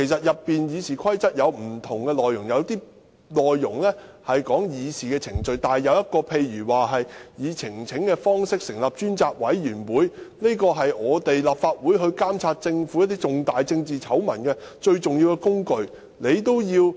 《議事規則》有不同條文，有些條文是關於議事程序，但有些條文關乎例如以提交呈請書的方式成立專責委員會，這是立法會監察政府重大政治醜聞的最重要工具。